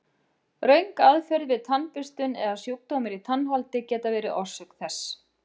Röng aðferð við tannburstun eða sjúkdómar í tannholdi geta verið orsök þess.